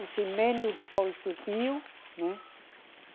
O cimento depois subiu, né?